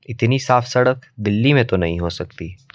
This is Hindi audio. इतनी साफ सड़क दिल्ली में तो नहीं हो सकती।